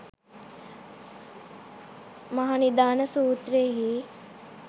මහනිදාන සූත්‍රයෙහි